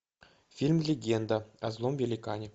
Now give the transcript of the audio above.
фильм легенда о злом великане